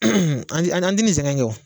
An ti an ti nin sɛgɛn in kɛ o